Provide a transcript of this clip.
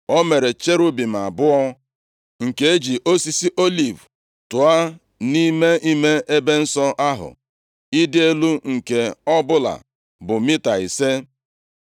O mere cherubim abụọ, nke e ji osisi oliv tụọ nʼime ime ebe nsọ ahụ, ịdị elu nke ọbụla bụ mita ise.